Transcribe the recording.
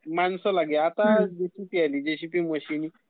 माणसं लागे..आता किती सोप्प होतेय...जीसीबी मशिन